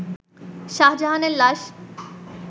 শাহজাহানের লাশ